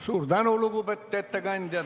Suur tänu, lugupeetud ettekandja!